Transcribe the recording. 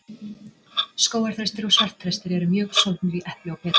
Skógarþrestir og svartþrestir eru mjög sólgnir í epli og perur.